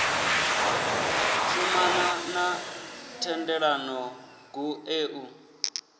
shumana na thendelano guṱe u